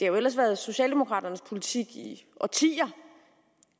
jo ellers været socialdemokraternes politik i årtier